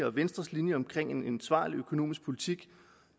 og venstres linje om en ansvarlig økonomisk politik